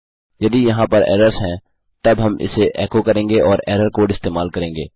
यदि यहाँ पर एरर्स हैं तब हम इसे एको करेंगे और एरर कोड इस्तेमाल करेंगे